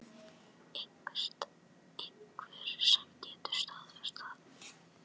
Einhver sem getur staðfest það?